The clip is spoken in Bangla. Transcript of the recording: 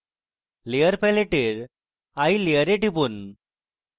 এখন layer প্যালেটের eye layer টিপুন